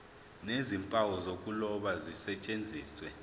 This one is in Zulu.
nezimpawu zokuloba zisetshenziswe